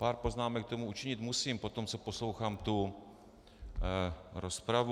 Pár poznámek k tomu učinit musím poté, co poslouchám tu rozpravu.